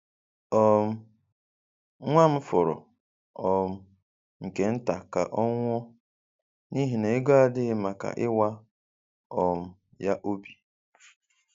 um Nwa m fọrọ um nke nta ka ọ nwụọ n’ihi na ego adịghị maka ịwa um ya obi.